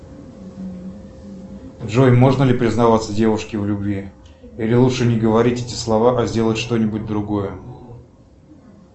джой можно ли признаваться девушке в любви или лучше не говорить эти слова а сделать что нибудь другое